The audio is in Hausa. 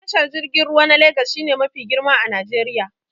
Tashar jirgin ruwa na Legas shi ne mafi girma a Najeriya